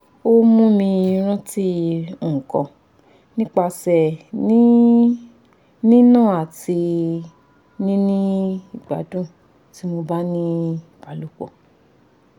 o mumi ranti nkan nipa ese ni ni na ati nini igbadun ti mo ba ni ibalopo